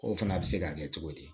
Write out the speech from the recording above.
O fana bɛ se ka kɛ cogo di